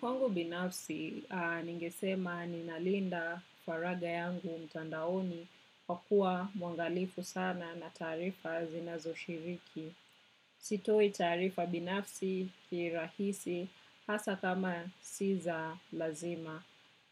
Kwangu binafsi, ningesema ni nalinda faraga yangu mtandaoni kwa kuwa mwangalifu sana na taarifa zinazo shiriki. Sitoi taarifa binafsi kirahisi hasaa kama si za lazima.